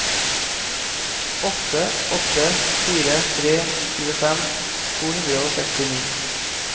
åtte åtte fire tre tjuefem to hundre og sekstini